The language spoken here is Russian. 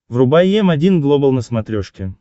врубай м один глобал на смотрешке